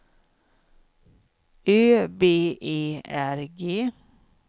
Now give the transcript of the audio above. Ö B E R G